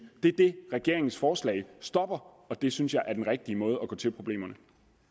det er det regeringens forslag stopper og det synes jeg er den rigtige måde at gå til problemerne